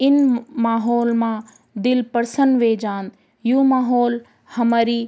इन माहोल मा दिल प्रसन्न वे जान्द यु माहोल हमरी।